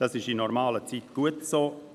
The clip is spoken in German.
Das ist in normalen Zeiten auch gut so.